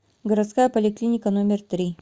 городская поликлиника номер три